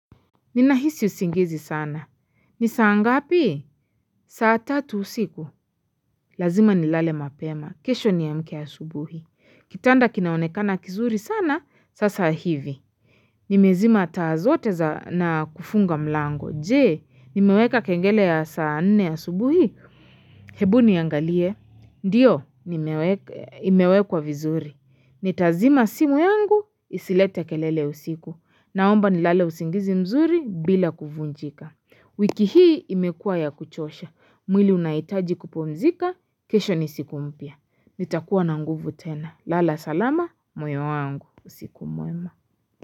Ninahisi usingizi sana. Nisaa ngapi? Saatatu usiku. Lazima ni lale mapema. Kesho ni amke asubuhi. Kitanda kinaonekana kizuri sana, sasa hivi. Nimezima taa zote na kufunga mlango. Jee, nimeweka kengele ya saa nne a subuhi. Hebu niangalie. Ndiyo, imewekwa vizuri. Nitazima simu yangu, isilete kelele usiku. Naomba ni lale usingizi mzuri bila kuvunjika. Wiki hii imekua ya kuchosha. Mwili unaitaji kupumzika, kesho nisikumpya. Nitakuwa na nguvu tena. Lala salama, moyo wangu. Usiku mwema.